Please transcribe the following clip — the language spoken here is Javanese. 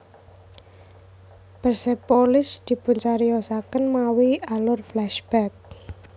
Persepolis dipuncariyosaken mawi alur flashback